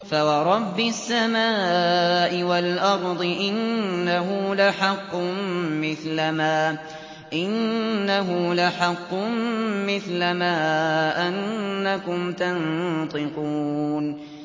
فَوَرَبِّ السَّمَاءِ وَالْأَرْضِ إِنَّهُ لَحَقٌّ مِّثْلَ مَا أَنَّكُمْ تَنطِقُونَ